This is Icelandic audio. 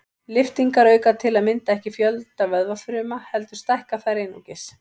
Lyftingar auka til að mynda ekki fjölda vöðvafruma heldur stækka þær einungis.